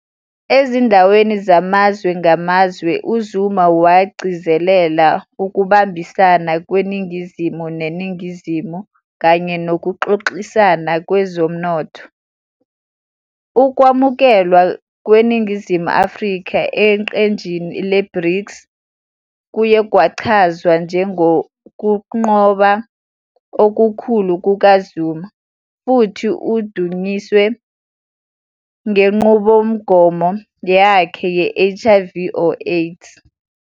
Ezindaweni zamazwe ngamazwe, uZuma wagcizelela Ukubambisana kweNingizimu neNingizimu kanye nokuxoxisana kwezomnotho. Ukwamukelwa kweNingizimu Afrika eqenjini le-BRICS kuye kwachazwa njengokunqoba okukhulu kukaZuma, futhi udunyiswe ngenqubomgomo yakhe ye-HIV or AIDS.